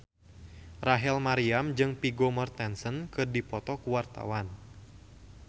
Rachel Maryam jeung Vigo Mortensen keur dipoto ku wartawan